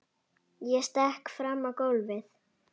Ég stekk fram á gólfið.